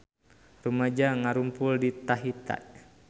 Rumaja ngarumpul di Tahiti